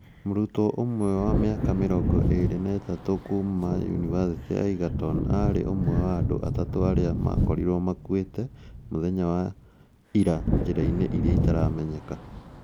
Mũrutwo ũmwe wa mĩaka mirongo iri ma itatũ kuuma Yunivacĩtĩ ya Egerton aarĩ ũmwe wa andũ atatũ arĩa ma ra korirwo makuĩte muthenya wa ira njiraini iria itaramenyeka